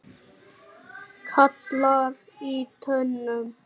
gallar í tönnum